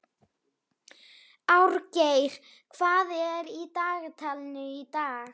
Árgeir, hvað er í dagatalinu í dag?